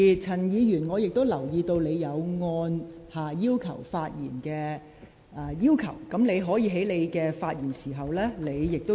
陳議員，我也留意到你已按下"要求發言"按鈕，你可以在發言時加以說明。